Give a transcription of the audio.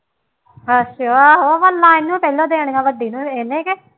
ਅੱਛਾ ਆਹੋ ਉਹ ਨਾ ਇਹਨੂੰ ਕਹਿੰਦਾ ਦੇਣੀਆਂ ਵੱਡੀ ਨੂੰ ਇਹ ਨਹੀਂ ਕਿ